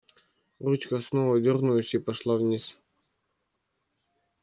ручка снова дёрнулась и пошла вниз